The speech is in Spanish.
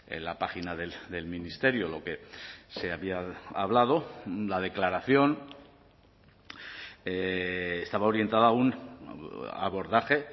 en la página del ministerio lo que se había hablado la declaración estaba orientada a un abordaje